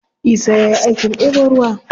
Isa ya yi aikin ɗebo ruwa.